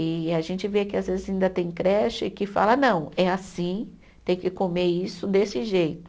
E a gente vê que às vezes ainda tem creche que fala, não, é assim, tem que comer isso desse jeito.